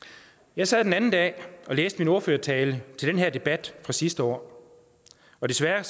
jeg sad den anden dag og læste min ordførertale til den her debat fra sidste år og desværre